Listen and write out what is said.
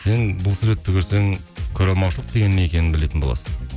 сен бұл суретті көрсең көреалмаушылық деген не екенін білетін боласың